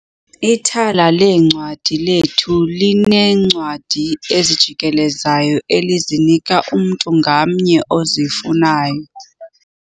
Ithala leencwadi lethu lineencwadi ezijikelezayo elizinika umntu ngamnye ozifunayo.